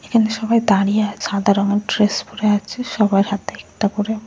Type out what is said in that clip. এখানে সবাই দাঁড়িয়ে আর সাদা রঙের ড্রেস পরে আছে। সবার হাতে একটা করে --